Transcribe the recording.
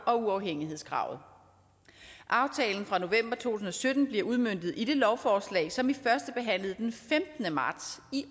og uafhængighedskravet aftalen fra november to tusind og sytten bliver udmøntet i det lovforslag som vi førstebehandlede den femtende marts i